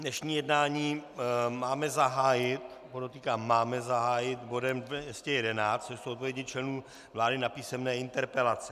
Dnešní jednání máme zahájit - podotýkám máme zahájit - bodem 211, což jsou odpovědi členů vlády na písemné interpelace.